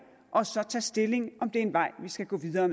og så tage stilling om det er en vej vi skal gå videre